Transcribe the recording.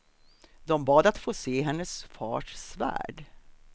De bad att få se hennes fars svärd.